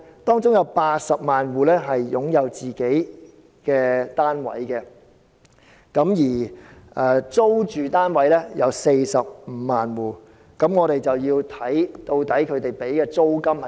當中有80萬戶擁有自己的單位，而租住單位有45萬戶，我們便要看他們支付的租金金額？